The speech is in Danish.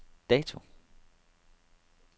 dato